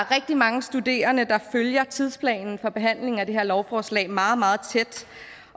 rigtig mange studerende der følger tidsplanen for behandling af det her lovforslag meget meget tæt